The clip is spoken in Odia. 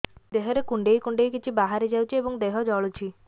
ଦେହରେ କୁଣ୍ଡେଇ କୁଣ୍ଡେଇ କିଛି ବାହାରି ଯାଉଛି ଏବଂ ଦେହ ଜଳୁଛି